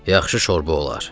Yaxşı şorba olar.